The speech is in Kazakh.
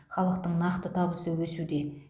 халықтың нақты табысы өсуде